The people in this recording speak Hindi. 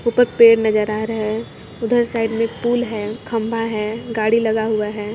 ऊपर पेड़ नजर आ रहा है उधर साइड में पूल है खंबा है गाड़ी लगा हुआ है।